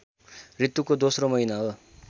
ऋतुको दोस्रो महिना हो